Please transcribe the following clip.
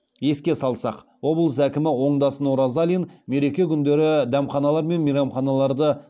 еске салсақ облыс әкімі оңдасын оразалин мереке күндері дәмханалар мен мейрамханаларды